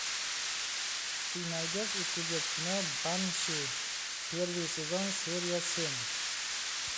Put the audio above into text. ты найдешь у себя кино банши первый сезон серия семь